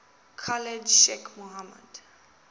khalid sheikh mohammed